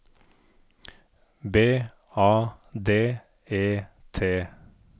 B A D E T